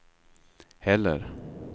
heller